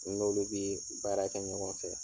N'olu bee baara kɛ ɲɔgɔn fɛ.